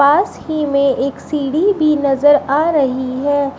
पास ही में एक सीढ़ी भी नजर आ रही है।